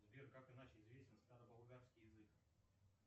сбер как иначе известен староболгарский язык